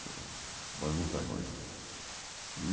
Foi muito. E